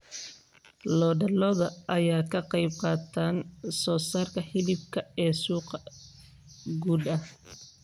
Lo'da lo'da ayaa ka qaybqaata soosaarka hilibka ee suuqa gudaha.